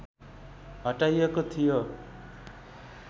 हटाइएको थियो